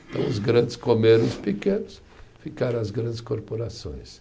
Então os grandes comeram os pequenos, ficaram as grandes corporações.